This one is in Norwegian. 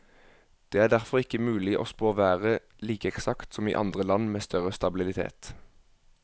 Det er derfor ikke mulig å spå været like eksakt som i andre land med større stabilitet.